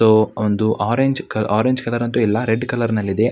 ಒಂದು orange orange colour ಅಂತ ಇಲ್ಲ ರೆಡ್ ಕಲರ್ ನಲ್ಲಿ ಇದೆ.